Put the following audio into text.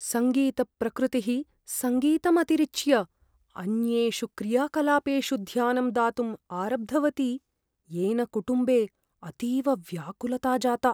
सङ्गीतप्रकृतिः सङ्गीतम् अतिरिच्य अन्येषु क्रियाकलापेषु ध्यानं दातुम् आरब्धवती येन कुटुम्बे अतीव व्याकुलता जाता।